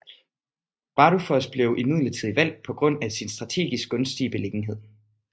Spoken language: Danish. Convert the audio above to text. Bardufoss blev imidlertid valgt på grund af sin strategisk gunstige beliggenhed